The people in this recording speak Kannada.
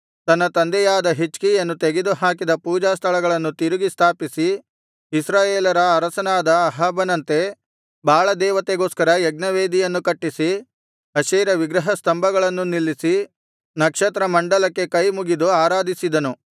ತನ್ನ ತಂದೆಯಾದ ಹಿಜ್ಕೀಯನು ತೆಗೆದು ಹಾಕಿದ ಪೂಜಾಸ್ಥಳಗಳನ್ನು ತಿರುಗಿ ಸ್ಥಾಪಿಸಿ ಇಸ್ರಾಯೇಲರ ಅರಸನಾದ ಅಹಾಬನಂತೆ ಬಾಳದೇವತೆಗೋಸ್ಕರ ಯಜ್ಞವೇದಿಗಳನ್ನು ಕಟ್ಟಿಸಿ ಅಶೇರ ವಿಗ್ರಹ ಸ್ತಂಭಗಳನ್ನು ನಿಲ್ಲಿಸಿ ನಕ್ಷತ್ರಮಂಡಲಕ್ಕೆ ಕೈಮುಗಿದು ಆರಾಧಿಸಿದನು